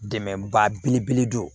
Dɛmɛba belebele don